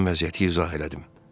Mən vəziyyəti izah elədim.